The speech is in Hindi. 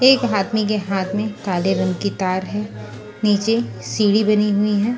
एक आदमी के हाथ में काले रंग की तार है नीचे सीढ़ी बनी हुई है।